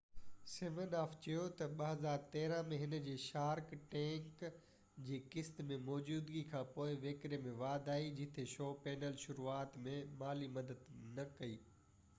سمن آف چيو تہ 2013 ۾ هن جي شارڪ ٽينڪ جي قسط ۾ موجودگي کانپوءِ وڪري ۾ واڌ آئي جتي شو پينل شروعات ۾ مالي مدد نہ ڪئي